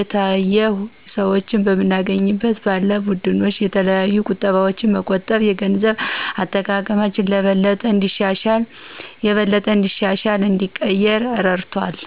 የተለያሁ ሰዎች በምንገናኝበት ባለን ቡድኖች የተለያዩ እቁቦች በመቆጠብ የገንዘብ አጠቃቀማችን የበለጠ እንዲሻሻልና እንዲቀየር እረድቶናል።